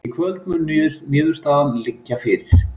Í kvöld mun niðurstaðan liggja fyrir